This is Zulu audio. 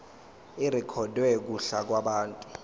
irekhodwe kuhla lwabantu